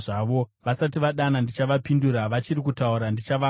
Vasati vadana ndichavapindura; vachiri kutaura ndichavanzwa.